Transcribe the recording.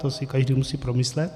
To si každý musí promyslet.